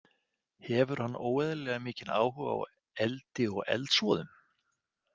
Hefur hann óeðlilega mikinn áhuga á eldi og eldsvoðum.